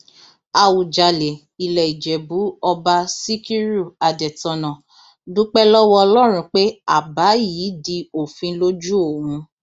àwùjalè ilẹ ìjẹbù ọba síkírù adẹtọnà dúpẹ lọwọ ọlọrun pé àbá yìí di òfin lójú òun